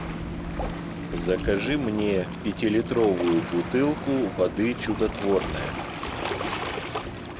закажи мне пятилитровую бутылку воды чудотворная